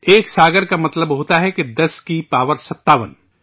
ایک ساگر کا مطلب ہوتا ہے کہ 10 کی پاور 57